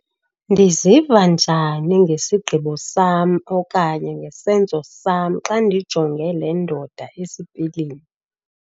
Ndiziva njani ngesigqibo sam okanye ngesenzo sam xa ndijonge 'le ndoda esipilini'?